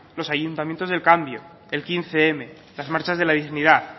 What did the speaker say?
los ayuntamiento del cambio el hamabostm las marchas de la dignidad